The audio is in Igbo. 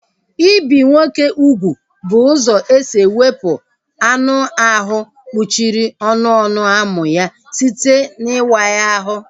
Ibi nwoke ugwu bụ ụzọ esi ewepu anụ ahụ kpuchiri ọnụ ọnụ amụ ya site n'ịwa ahụ